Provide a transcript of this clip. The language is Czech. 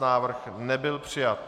Návrh nebyl přijat.